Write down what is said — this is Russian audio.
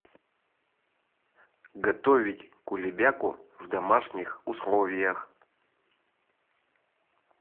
готовить кулебяку в домашних условиях